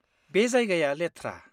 बे जायगाया लेथ्रा।